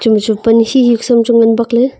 ema chu pan shi shi ku chu ngan bak ley.